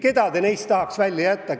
Keda neist te tahaks välja jätta?